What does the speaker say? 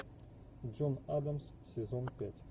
джон адамс сезон пять